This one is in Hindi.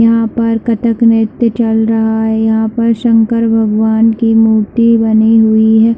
यहाँ पर कथक नृत्य चल रहा है यहाँ पर शंकर भगवान की मूर्ति बनी हुई हैं।